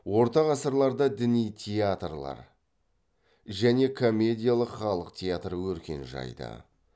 орта ғасырларда діни театрлар және комедиялық халық театры өркен жайды